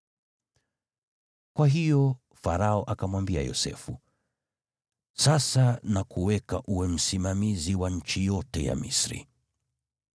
Kwa hiyo Farao akamwambia Yosefu, “Sasa nakuweka uwe msimamizi wa nchi yote ya Misri.”